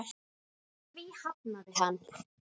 Því hafnaði hann.